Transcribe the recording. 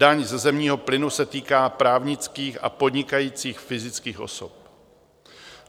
Daň ze zemního plynu se týká právnických a podnikajících fyzických osob.